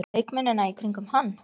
Leikmennina í kringum hann?